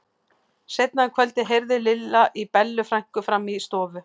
Seinna um kvöldið heyrði Lilla í Bellu frænku frammi í stofu.